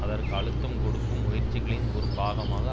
அதற்கு அழுத்தம் கொடுக்கும் முயற்சிகளின் ஒரு பாகமாக